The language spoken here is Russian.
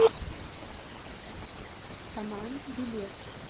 саман билет